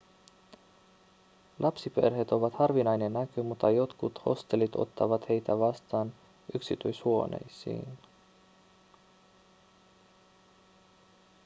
lapsiperheet ovat harvinainen näky mutta jotkut hostellit ottavat heitä vastaan yksityishuoneisiin